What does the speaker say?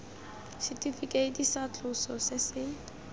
setifikeiti tsa tloso se se